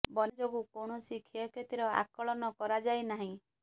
ବନ୍ୟା ଯୋଗୁଁ କୌଣସି କ୍ଷୟ କ୍ଷତି ର ଆକଳନ କରାଯାଇନାହିଁ